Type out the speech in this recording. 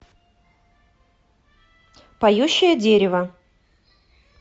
поющее дерево